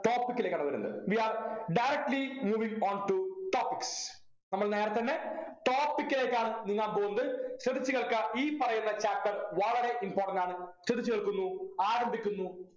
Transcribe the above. topic ലേക്കാണ് വരുന്നത് we are directly moving on to topics നമ്മൾ നേരെത്തന്നെ topic ലേക്കാണ് നീങ്ങാൻ പോകുന്നത് ശ്രദ്ധിച്ചു കേൾക്കുക ഈ പറയുന്ന chapter വളരെ important ആണ് ശ്രദ്ധിച്ചു കേൾക്കുന്നു ആരംഭിക്കുന്നു